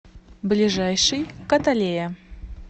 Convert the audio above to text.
ближайший каталея